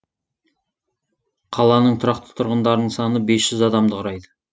қаланың тұрақты тұрғындарының саны бес жүз адамды құрайды